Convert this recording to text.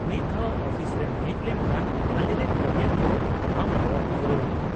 -ᱢᱤᱫ ᱫᱷᱟᱣ ᱚᱯᱷᱤᱥ ᱨᱮᱢ ᱦᱮᱡ ᱞᱮᱱᱠᱷᱟᱱ ᱟᱞᱮᱨᱮᱱ ᱠᱟᱹᱢᱤᱭᱟᱹ ᱠᱩ ᱟᱢ ᱠᱚ ᱜᱚᱲᱚᱣᱟᱢᱟ ᱾